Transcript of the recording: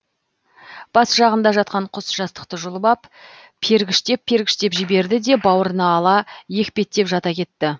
бас жағында жатқан құс жастықты жұлып ап пергіштеп пергіштеп жіберді де бауырына ала екпеттеп жата кетті